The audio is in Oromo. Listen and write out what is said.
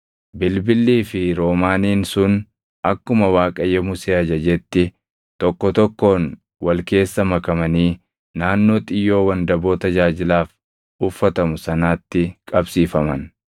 Bilbillii fi roomaaniin sun akkuma Waaqayyo Musee ajajetti tokko tokkoon wal keessa makamanii naannoo xiyyoo wandaboo tajaajilaaf uffatamu sanaatti qabsiifaman.